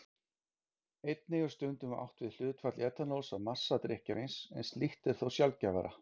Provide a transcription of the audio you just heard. Einnig er stundum átt við hlutfall etanóls af massa drykkjarins, en slíkt er þó sjaldgæfara.